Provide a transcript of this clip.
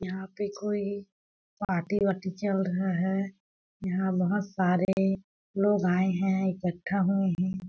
यहाँ पे कोई पार्टी -वार्टी चल रहा है यहाँ बहोत सारे लोग आए है इक्कठा हुए हैं।